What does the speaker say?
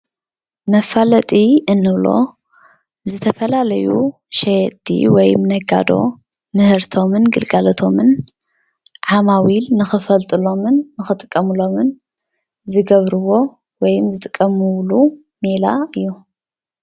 መፋለጢ እንብሎ ዝተፋላለዩ ሸየጥቲ ወይም ነጋዶ ምህርቶምን ግልጋሎቶምን ዓማዊሎምን ንከፈጡሎምን ከጥቀምሎምን ዝገበርዎ ወይም ዝጥቀምሎምን ሜላ እዩ፡፡